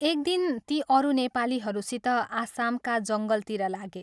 एक दिन ती अरू नेपालीहरूसित आसामका जङ्गलतिर लागे।